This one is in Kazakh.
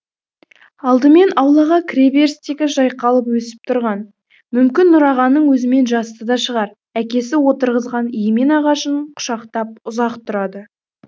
алдымен аулаға кіре берістегі жайқалып өсіп тұрған мүмкін нұрағаның өзімен жасты да шығар әкесі отырғызған емен ағашын құшақтап ұзақ тұрады